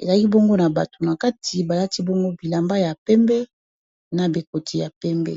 ezali bongo na bato na kati balati bongo bilamba ya pembe na bikoti ya pembe.